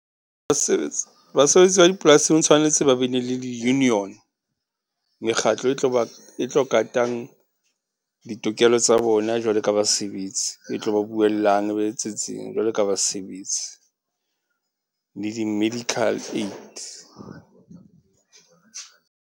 Basebetsi, basebetsi ba dipolasing tshwanetse ba be ne le di-union. Mekgatlo e tlo ba, e tlo katang ditokelo tsa bona jwalo ka basebetsi. E tlo ba buellang, e ba etsetseng jwalo ka basebetsi, le di-medical aid.